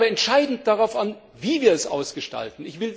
Es kommt aber entscheidend darauf an, wie wir es ausgestalten.